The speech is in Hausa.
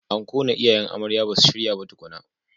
Anko na iyayen amarya basu shirya ba tukuna.